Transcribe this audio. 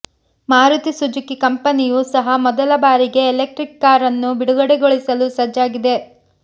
Maruti Suzuki ಕಂಪನಿಯು ಸಹ ಮೊದಲ ಬಾರಿಗೆ ಎಲೆಕ್ಟ್ರಿಕ್ ಕಾರ್ ಅನ್ನು ಬಿಡುಗಡೆಗೊಳಿಸಲು ಸಜ್ಜಾಗಿದೆ